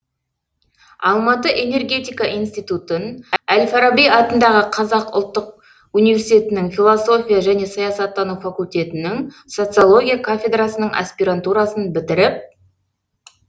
алматы энергетика институтын әл фараби атындағы қазақ ұлттық университетінің философия және саясаттану факультетінің социология кафедрасының аспирантурасын бітіріп